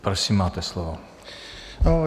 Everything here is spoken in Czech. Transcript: Prosím, máte slovo.